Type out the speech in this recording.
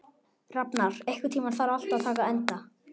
Rafnar, einhvern tímann þarf allt að taka enda.